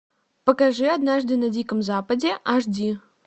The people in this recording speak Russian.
покажи однажды на диком западе аш ди